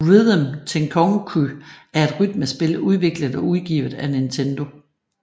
Rhythm Tengoku er et rytmespil udviklet og udgivet af Nintendo